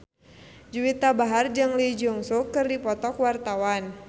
Juwita Bahar jeung Lee Jeong Suk keur dipoto ku wartawan